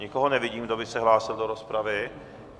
Nikoho nevidím, kdo by se hlásil do rozpravy.